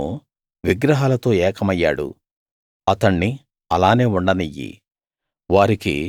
ఎఫ్రాయిము విగ్రహాలతో ఏకమయ్యాడు అతణ్ణి అలానే ఉండనియ్యి